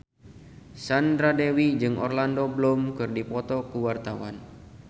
Sandra Dewi jeung Orlando Bloom keur dipoto ku wartawan